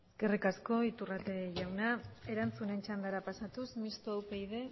eskerrik asko iturrate jauna erantzunen txandara pasatuz mistoa upyd